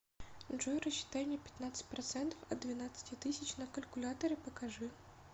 джой рассчитай мне пятнадцать процентов от двенадцати тысяч на калькуляторе покажи